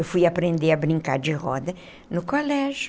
Eu fui aprender a brincar de roda no colégio.